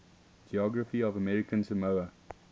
geography of american samoa